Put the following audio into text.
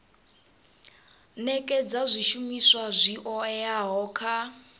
nekedza zwishumiswa zwi oeaho kha